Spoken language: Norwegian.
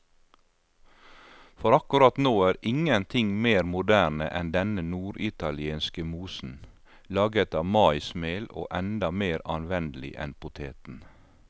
For akkurat nå er ingenting mer moderne enn denne norditalienske mosen, laget av maismel og enda mer anvendelig enn poteten.